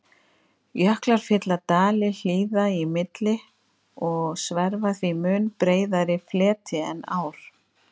Jöklar fylla dali hlíða í milli og sverfa því mun breiðari fleti en ár.